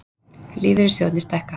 Lífeyrissjóðirnir stækka